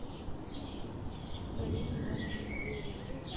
карина ивановна неверева